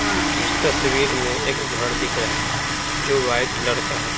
इस तस्वीर में एक घर दिख रहा है जो वाइट कलर का है।